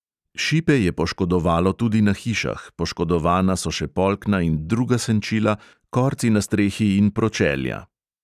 Šipe je poškodovalo tudi na hišah, poškodovana so še polkna in druga senčila, korci na strehi in pročelja.